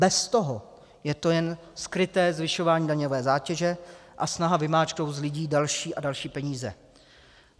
Bez toho je to jen skryté zvyšování daňové zátěže a snaha vymáčknout z lidí další a další peníze.